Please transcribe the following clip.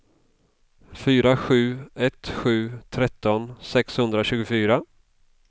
fyra sju ett sju tretton sexhundratjugofyra